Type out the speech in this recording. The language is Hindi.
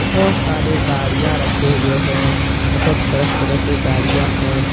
बहुत सारे गाड़ियां रखे हुए है बहुत तरह तरह के गाड़ियां हैं।